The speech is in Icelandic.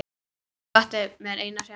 Ég átti mér eitt sumar.